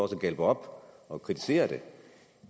galpe op og kritisere det